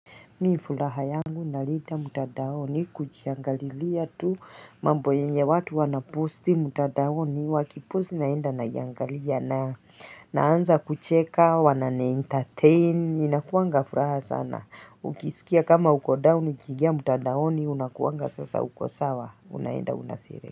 Mimi furaha yangu na lida mtandaoni kujiangalilia tu mambo yenye watu wana posti mtandaoni waki posti naenda naiangalia na naanza kucheka wananiendateini inakuwanga furaha sana ukisikia kama ukodaoni ukiiingia mtandaoni unakuwanga sasa uko sawa unaenda una.